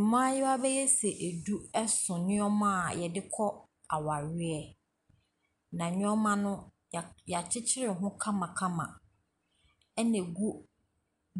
Mmayewa bɛyɛ sɛ edu, ɛso nneema a yɛde kɔ awareɛ. Na nnoɔma no ya kyekyere ho kamakama ɛna egu